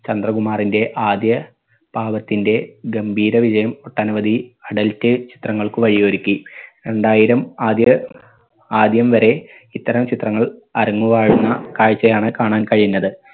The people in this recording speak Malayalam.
ചന്ദ്രകുമാറിന്റെ ആദ്യ ഭാഗത്തിന്റെ ഗംഭീര വിജയം ഒട്ടനവധി adult ചിത്രങ്ങൾക്ക് വഴിയൊരുക്കി. രണ്ടായിരം ആദ്യ ആദ്യം വരെ ഇത്തരം ചിത്രങ്ങൾ അരങ്ങുവാഴുന്ന കാഴ്ചയാണ് കാണാൻ കഴിഞ്ഞത്